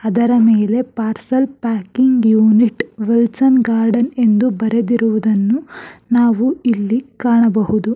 ಇದರ ಮೇಲೆ parcel packing unit Wilson Garden ಎಂದು ಬರೆದಿರುವುದನ್ನು ನಾವು ಇಲ್ಲಿ ಕಾಣಬಹುದು.